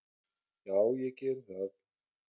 """Já, ég geri það."""